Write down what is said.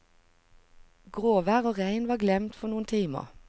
Gråvær og regn var glemt for noen timer.